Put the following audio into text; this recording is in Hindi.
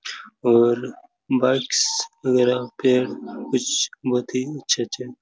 और बाइक्स वगेरा पे कुछ बहुत ही अच्छे-अच्छे--